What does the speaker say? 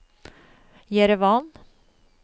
Jerevan